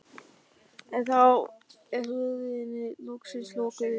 En þá er hurðinni loksins lokið upp.